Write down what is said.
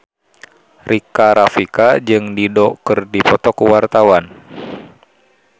Rika Rafika jeung Dido keur dipoto ku wartawan